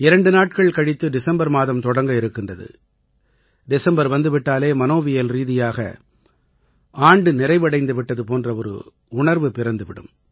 இரண்டு நாட்கள் கழித்து டிசம்பர் மாதம் தொடங்கவிருக்கின்றது டிசம்பர் வந்து விட்டாலே மனோவியல்ரீதியாக ஆண்டு நிறைவடைந்து விட்டது போன்ற ஒரு உணர்வு பிறந்து விடும்